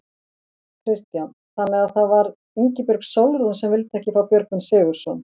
Kristján: Þannig að það var Ingibjörg Sólrún sem vildi ekki fá Björgvin Sigurðsson?